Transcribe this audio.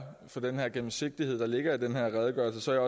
for den gennemsigtighed der ligger i den her redegørelse